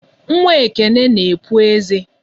Nwa Ekene na-epu eze.